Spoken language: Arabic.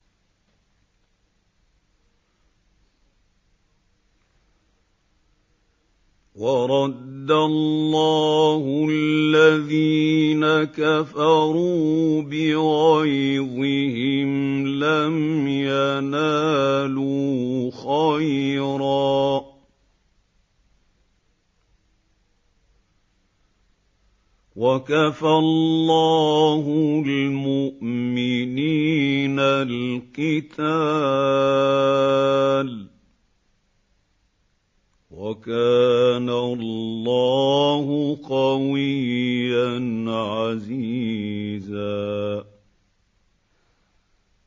وَرَدَّ اللَّهُ الَّذِينَ كَفَرُوا بِغَيْظِهِمْ لَمْ يَنَالُوا خَيْرًا ۚ وَكَفَى اللَّهُ الْمُؤْمِنِينَ الْقِتَالَ ۚ وَكَانَ اللَّهُ قَوِيًّا عَزِيزًا